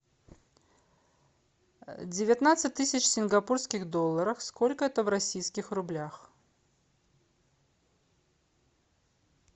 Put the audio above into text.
девятнадцать тысяч сингапурских долларов сколько это в российских рублях